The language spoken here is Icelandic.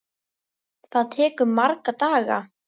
Það tekur marga daga!